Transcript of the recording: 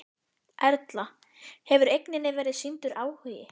Erla: Hefur eigninni verið sýndur áhugi?